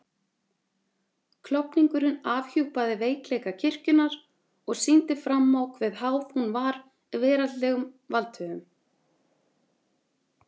Klofningurinn afhjúpaði veikleika kirkjunnar og sýndi fram á hve háð hún var veraldlegum valdhöfum.